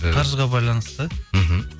ы қаржыға байланысты мхм